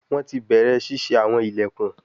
Wọn ti bẹrẹ ṣiṣe awọn ilẹkun